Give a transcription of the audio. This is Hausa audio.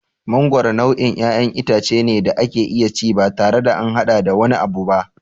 Mangoro nau'in ƴaƴan itace ne da ake iya ci batare da an haɗa da wani abu ba.